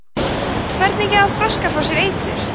hvernig gefa froskar frá sér eitur